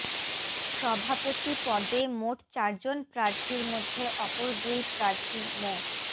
সভাপতি পদে মোট চারজন প্রার্থীর মধ্যে অপর দুই প্রার্থী মো